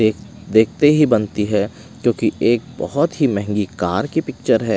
देख देखते ही बनती है क्योंकि एक बहोत ही महंगी कार की पिक्चर है।